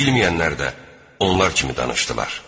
Bilməyənlər də onlar kimi danışdılar.